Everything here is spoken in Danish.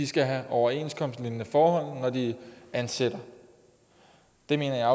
skal have overenskomstlignende forhold når de ansætter det mener jeg